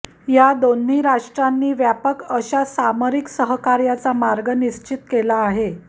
या दोन्ही राष्ट्रांनी व्यापक अशा सामरिक सहकार्याचा मार्ग निश्चित केला आहे